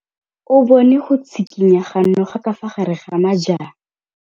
O bone go tshikinya ga noga ka fa gare ga majang.